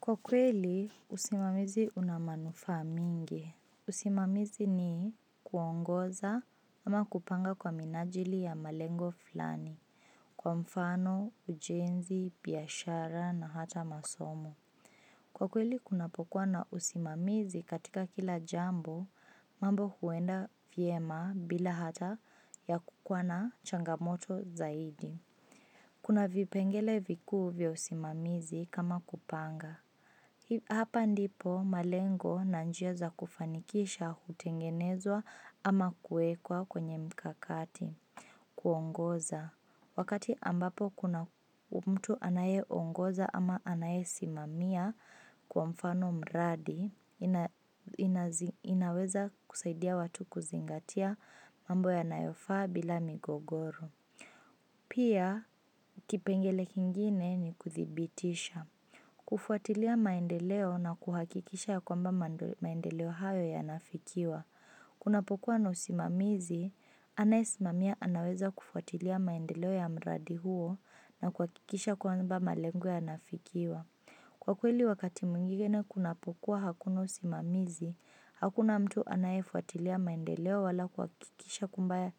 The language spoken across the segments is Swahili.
Kwa kweli, usimamizi una manufaa mengi. Usimamizi ni kuongoza ama kupanga kwa minajili ya malengo fulani. Kwa mfano, ujenzi, biashara na hata masomo. Kwa kweli, kunapokuwa na usimamizi katika kila jambo, mambo huenda vyema bila hata ya kukuwa na changamoto zaidi. Kuna vipengele vikuu vya usimamizi kama kupanga. Hapa ndipo malengo na njia za kufanikisha hutengenezwa ama kuekwa kwenye mkakati, kuongoza. Wakati ambapo kuna mtu anaye ongoza ama anaye simamia kwa mfano mradi, inaweza kusaidia watu kuzingatia mambo yanayofaa bila migogoro. Pia, kipengele kingine ni kuthibitisha. Kufuatilia maendeleo na kuhakikisha ya kwamba maendeleo hayo yana fikiwa kunapokuwa na usimamizi, anaye simamia anaweza kufuatilia maendeleo ya mradi huo na kuhakikisha kwamba malengo yanafikiwa Kwa kweli wakati mwingine kunapo kuwa hakuna usimamizi, hakuna mtu anayefuatilia maendeleo wala kuhakikisha kwamba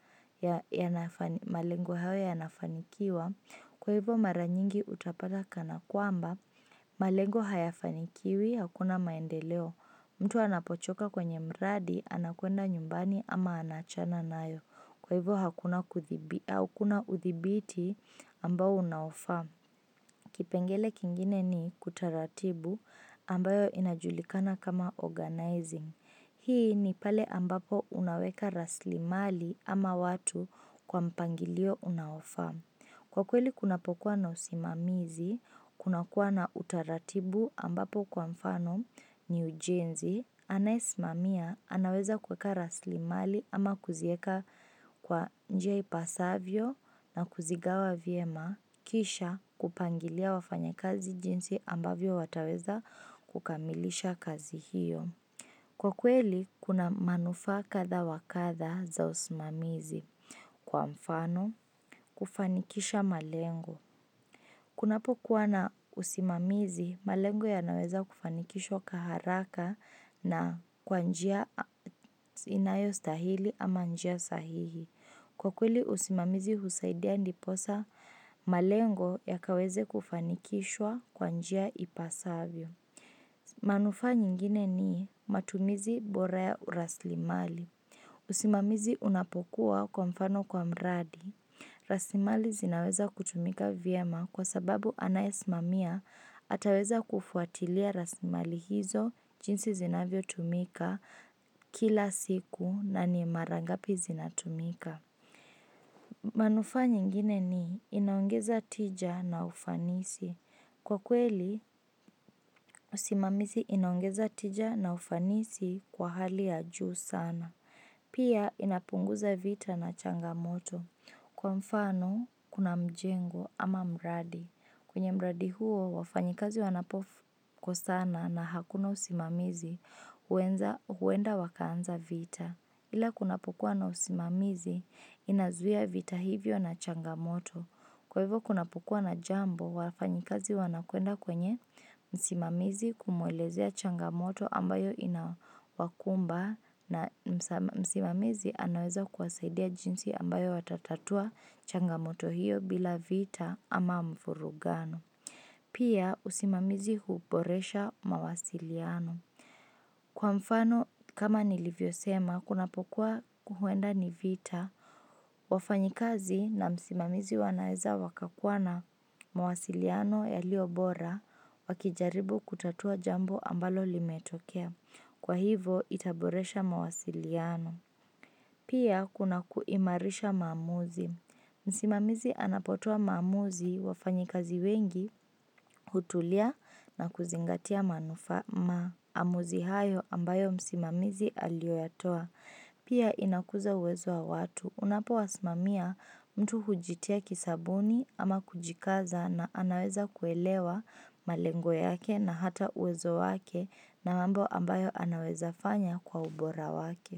malengo hayo yanafanikiwa Kwa hivo mara nyingi utapata kana kwamba, malengo hayafanikiwi, hakuna maendeleo. Mtu anapochoka kwenye mradi, anakwenda nyumbani ama anaachana nayo. Kwa hivo hakuna uthibiti ambao unaofaa. Kipengele kingine ni kutaratibu ambayo inajulikana kama organizing. Hii ni pale ambapo unaweka rasilimali ama watu kwa mpangilio unaofaa. Kwa kweli kunapo kuwa na usimamizi, kuna kuwa na utaratibu ambapo kwa mfano ni ujenzi, anaye simamia, anaweza kuweka rasilimali ama kuzieka kwa njia ipasavyo na kuzigawa vyema, kisha kupangilia wafanyi kazi jinsi ambavyo wataweza kukamilisha kazi hiyo. Kwa kweli, kuna manufaa kadha wakadha za usimamizi. Kwa mfano, kufanikisha malengo. Kunapo kuwa na usimamizi, malengo yanaweza kufanikishwa kwa haraka na kwa njia inayo stahili ama njia sahihi. Kwa kweli, usimamizi husaidia ndiposa malengo yakaweze kufanikishwa kwa njia ipasavyo. Manufa nyingine ni, matumizi bora ya uraslimali usimamizi unapokuwa kwa mfano kwa mradi raslimali zinaweza kutumika vyema kwa sababu anayesimamia ataweza kufuatilia rasilimali hizo jinsi zinavyo tumika, kila siku na ni mara ngapi zinatumika manufa nyingine ni inaongeza tija na ufanisi Kwa kweli, usimamizi inaongeza tija na ufanisi kwa hali ya juu sana. Pia, inapunguza vita na changamoto. Kwa mfano, kuna mjengo ama mradi. Kwenye mradi huo, wafanyikazi wanapo kosana na hakuna usimamizi, huenda wakaanza vita. Ila kunapokuwa na usimamizi, inazuia vita hivyo na changamoto. Kwa hivyo kunapokuwa na jambo wafanyikazi wanakwenda kwenye msimamizi kumwelezea changamoto ambayo inawakumba na msimamizi anaweza kuwasaidia jinsi ambayo watatatua changamoto hiyo bila vita ama mvurugano. Pia usimamizi huboresha mawasiliano. Kwa mfano, kama nilivyo sema, kunapo kuwa huenda ni vita, wafanyikazi na msimamizi wanaeza wakakua na mawasiliano yalio bora wakijaribu kutatua jambo ambalo limetokea. Kwa hivo, itaboresha mawasiliano. Pia kuna kuimarisha maamuzi. Msimamizi anapotoa maamuzi wafanyikazi wengi, hutulia na kuzingatia maamuzi hayo ambayo msimamizi aliyo yatoa. Pia inakuza uwezo wa watu. Unapo wasimamia mtu hujitia kisabuni ama kujikaza na anaweza kuelewa malengo yake na hata uwezo wake na mambo ambayo anaweza fanya kwa ubora wake.